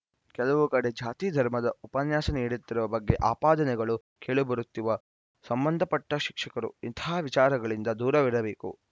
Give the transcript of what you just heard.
ಕೆಲವು ಕಡೆ ಜಾತಿ ಧರ್ಮದ ಉಪನ್ಯಾಸ ನೀಡುತ್ತಿರುವ ಬಗ್ಗೆ ಆಪಾದನೆಗಳು ಕೇಳಿಬರುತ್ತಿವ ಸಂಬಂಧಪಟ್ಟ ಶಿಕ್ಷಕರು ಇಂತಹ ವಿಚಾರಗಳಿಂದ ದೂರವಿರಬೇಕು